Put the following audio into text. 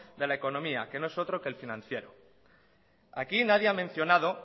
de la economía que no es otro que el financiero aquí nadie ha mencionado